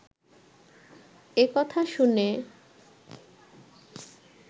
একথা শুনে